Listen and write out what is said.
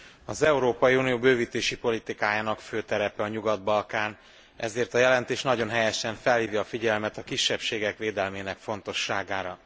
Az Európai Unió bővítési politikájának fő terepe a Nyugat Balkán, ezért a jelentés nagyon helyesen felhívja a figyelmet a kisebbségek védelmének fontosságára.